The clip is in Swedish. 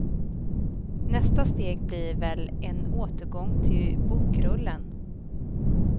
Nästa steg blir väl en återgång till bokrullen.